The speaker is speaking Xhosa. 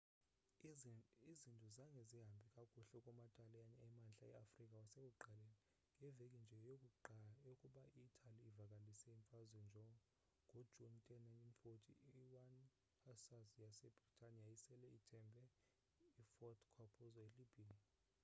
izinto zange zihambe kakuhle kuma taliyane emantla e-afrika kwasekuqaleni ngeveki nje yokuba i-italy ivakalise imfazwe ngo june10 1940 i-1 hussars yase britane yayisele ithimbe i-fort capuzzo e libya